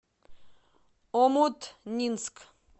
омутнинск